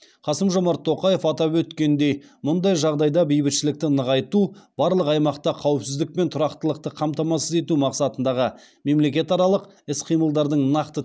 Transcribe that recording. қасым жомарт тоқаев атап өткендей мұндай жағдайда бейбітшілікті нығайту барлық аймақта қауіпсіздік пен тұрақтылықты қамтамасыз ету мақсатындағы мемлекетаралық іс қимылдардың нақты